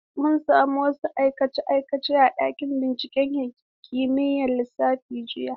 Mun sami wasu aikace-aikace a ɗakin binciken kimiyyar lissafi jiya.